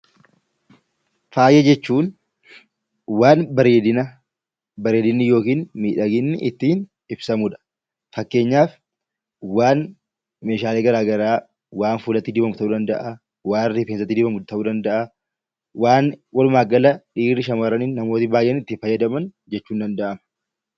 Faaya jechuun waan bareedinaa, bareedinni yookiin miidhaginni ittiin ibsamudha. Fakkeenyaaf meeshaalee gara garaa waan rifeensatti dibamu ta'uu danda’a, waan fuulatti dibamu ta'uu danda’a. Waan wlumaa gala dhiirri, shamarran akkasumas namoonni baay'een itti fayyadaman ta'uu ni danda’a.